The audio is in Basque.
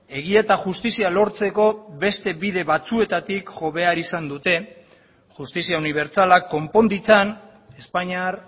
egia eta justizia lortzeko beste bide batzuetatik jo behar izan dute justizia unibertsalak konpon ditzan espainiar